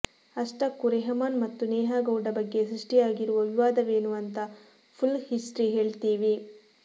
ಅಷ್ಟಕ್ಕೂ ರೆಹಮಾನ್ ಮತ್ತು ನೇಹಾ ಗೌಡ ಬಗ್ಗೆ ಸೃಷ್ಟಿಯಾಗಿರುವ ವಿವಾದವೇನು ಅಂತ ಫುಲ್ ಹಿಸ್ಟ್ರಿ ಹೇಳ್ತೀವಿ